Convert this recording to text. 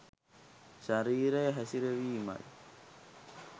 ශරීරය හැසිරවීමයි.